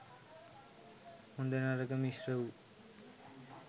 හොඳ නරක මිශ්‍ර වූ,